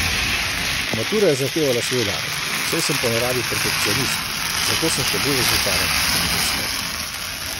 Matura je zahtevala svoj davek, saj sem po naravi perfekcionist, zato sem še bolj razočaran, če mi ne uspe.